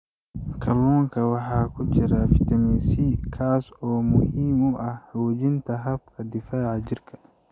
Kalluunka waxaa ku jira fitamiin C, kaas oo muhiim u ah xoojinta habka difaaca jirka.